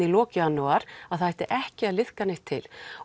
í lok janúar að það ætti ekki að liðka neitt til